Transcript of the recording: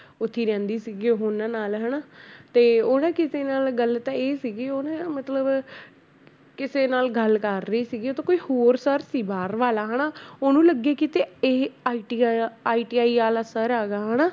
ਉੱਥੇ ਹੀ ਰਹਿੰਦੀ ਸੀਗੀ ਉਹਨਾਂ ਨਾਲ ਹਨਾ ਤੇ ਉਹ ਨਾ ਕਿਸੇ ਨਾਲ ਗੱਲ ਤਾਂ ਇਹ ਸੀਗੀ ਉਹ ਨਾ ਮਤਲਬ ਕਿਸੇ ਨਾਲ ਗੱਲ ਕਰ ਰਹੀ ਸੀਗੀ ਉਹ ਤਾਂ ਕੋਈ ਹੋਰ sir ਸੀ ਬਾਹਰ ਵਾਲਾ ਹਨਾ ਉਹਨੂੰ ਲੱਗੇ ਕਿਤੇ ਇਹ IT ਵਾਲਾ ITI ਵਾਲਾ sir ਹੈਗਾ ਹਨਾ